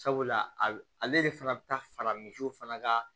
Sabula a ale de fana bɛ taa fara misiw fana ka